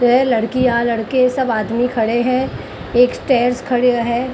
वह लड़कियां लड़के सब आदमी खड़े हैं एक स्टेयर्स खड़े है।